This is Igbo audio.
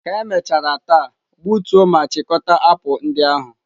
Ka emechara taa, gbutuo ma chịkọta apụl ndị ahụ!